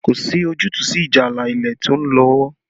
Kò sí ojútùú sí ìjà ààlà ilẹ̀ tó ń lọ́wọ́